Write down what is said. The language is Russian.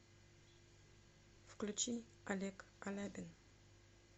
включи олег алябин